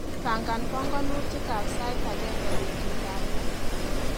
Pangan panganutikap sait agenge betutap loo.